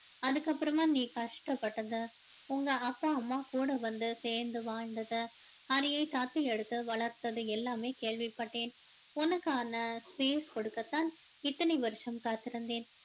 அதுக்கப்பறமா நீ கஷ்ட பட்டது உங்க அப்பா அம்மா கூட வந்து சேர்ந்து வாழ்ந்தது ஹரியை தத்து எடுத்து வளர்த்தது எல்லாமே கேள்விப்பட்டேன் உனக்கான space கொடுக்கத் தான் இத்தனை வருஷம் காத்திருந்தேன்